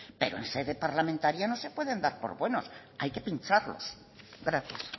pero en sede parlamentaria no se pueden dar por buenos hay que pincharlos gracias